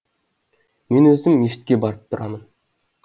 мен өзім мешітке барып тұрамын